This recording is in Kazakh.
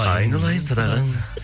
айналайын садағаң